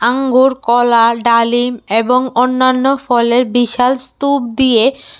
আঙ্গুর কলা ডালিম এবং অন্যান্য ফলের বিশাল স্তুপ দিয়ে--